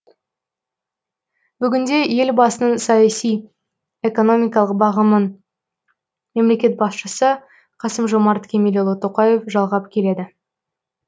бүгінде елбасының саяси экономикалық бағымын мемлекет басшысы қасым жомарт кемелұлы тоқаев жалғап келеді